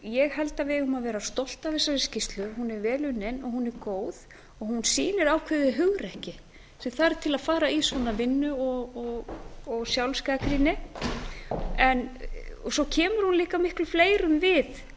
ég held að við eigum að vera stolt af þessari skýrslu hún er vel unnin og hún er góð hún sýnir ákveðið hugrekki sem þarf til að fara í svona vinnu og sjálfsgagnrýni svo kemur hún líka miklu fleirum við